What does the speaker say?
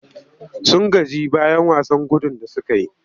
Sun gaji bayan wasan gudun da suka yi.